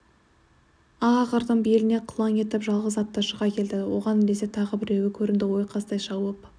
ақ ақырдың беліне қылаң етіп жалғыз атты шыға келді оған ілесе тағы біреуі көрінді ойқастай шауып